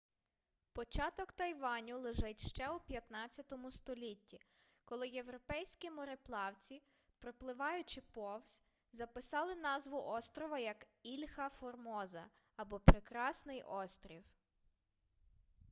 початок тайваню лежить ще у 15-му столітті коли європейські мореплавці пропливаючи повз записали назву острова як ільха формоза або прекрасний острів